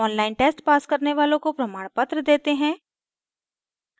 online test pass करने वालों को प्रमाणपत्र देते हैं